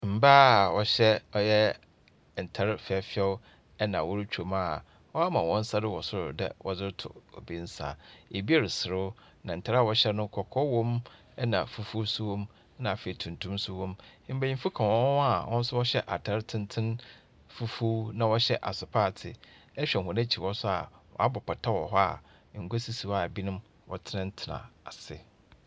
Mbaa a wɔhyɛ ɔyɛ ntar fɛɛfɛw na worutwa mu a wɔama hɔn nsa wɔ sor dɛ wɔdze roto obi nsa, bi reserew, na ntar a wɔhyɛ no kɔkɔɔ wɔ mu na fufuw so wɔ mu, na afei, tuntum so wɔ mu. Mbanyin ka hɔn ho a wɔhyɛ ntar tsentsen fufuw na wɔhyɛ asopaatsee, ehwɛ hɔn ekyir hɔ so a, wɔabɔ pata wɔ hɔ a ngua sisi hɔ a binom wɔtsenatsena ase.